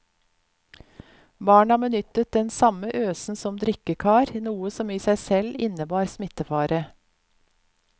Barna benyttet den samme øsen som drikkekar, noe som i seg selv innebar smittefare.